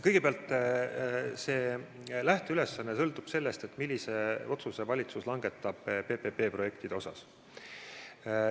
Kõigepealt, see lähteülesanne sõltub sellest, millise otsuse valitsus langetab PPP-projektide kohta.